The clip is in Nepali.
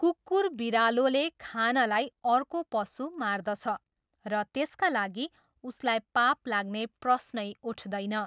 कुकुर बिरालोले खानलाई अर्को पशु मार्दछ र त्यसका लागि उसलाई पाप लाग्ने प्रश्नै उठदैन।